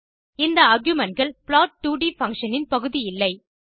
இந்த argumentகள் plot2ட் பங்ஷன் இன் பகுதி இல்லை